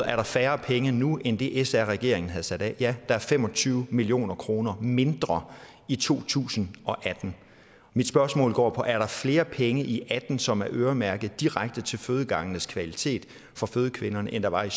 er færre penge nu end det som sr regeringen havde sat af ja der er fem og tyve million kroner mindre i to tusind og atten mit spørgsmål går på er flere penge i atten som er øremærket direkte til fødegangenes kvalitet for fødende kvinder end der var i